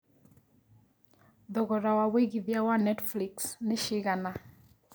thogora wa wĩigĩthĩa wa Netflix nĩ cigana